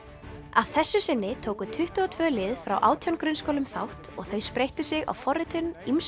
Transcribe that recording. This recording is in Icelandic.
að þessu sinni tóku tuttugu og tvö lið frá átján grunnskólum þátt og þau spreyttu sig á forritun ýmsum